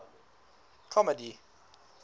comedy